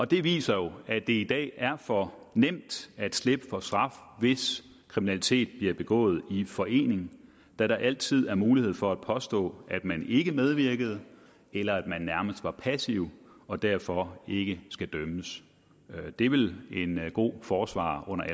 det viser jo at det i dag er for nemt at slippe for straf hvis kriminalitet bliver begået i forening da der altid er mulighed for at påstå at man ikke medvirkede eller at man nærmest var passiv og derfor ikke skal dømmes det vil en god forsvarer